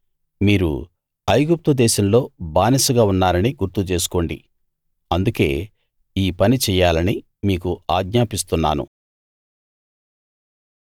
మీరు ఐగుప్తు దేశంలో బానిసగా ఉన్నారని గుర్తుచేసుకోండి అందుకే ఈ పని చెయ్యాలని మీకు ఆజ్ఞాపిస్తున్నాను